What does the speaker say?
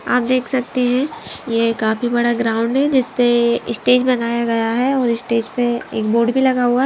आप देख सकते हैं ये काफी बड़ा ग्राउंड है जिसपे स्टेज बनाया गया है और स्टेज पे एक बोर्ड भी लगा हुआ--